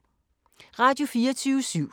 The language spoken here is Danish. Radio24syv